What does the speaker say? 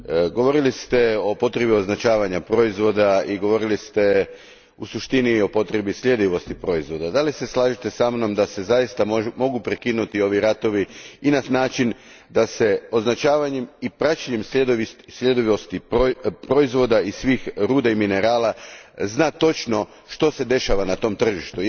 Govorili ste o potrebi označavanja proizvoda i govorili ste u suštini o potrebi sljedivosti proizvoda. Da li se slažete sa mnom da se zaista mogu prekinuti ovi ratovi i na način da se označavanjem i praćenjem sljedivosti proizvoda i svih ruda i minerala zna točno što se dešava na tom tržištu?